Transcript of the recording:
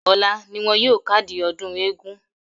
Ọ̀la ni wọn yóò kádìí ọdún eégún.